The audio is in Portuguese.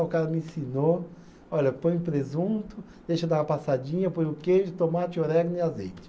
O cara me ensinou, olha, põe presunto, deixa dar uma passadinha, põe o queijo, tomate, orégano e azeite.